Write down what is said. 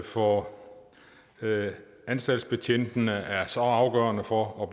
for anstaltsbetjentene er så afgørende for at